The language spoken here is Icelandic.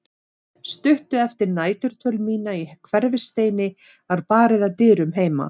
Stuttu eftir næturdvöl mína í Hverfisteini var barið að dyrum heima.